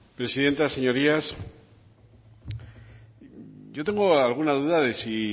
presidenta señorías yo tengo alguna duda de si